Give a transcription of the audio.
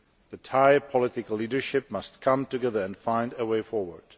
The Thai political leadership must come together and find a way forward.